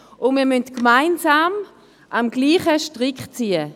Wir müssen gemeinsam am selben Strick ziehen.